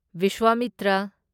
Vishwamitra